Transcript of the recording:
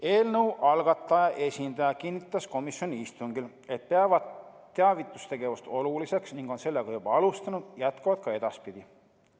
Eelnõu algataja esindaja kinnitas komisjoni istungil, et nad peavad teavitustegevust oluliseks, nad on sellega juba alustanud ja jätkavad ka edaspidi.